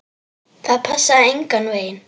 Það passaði engan veginn.